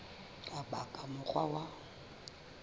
ka ba ka mokgwa wa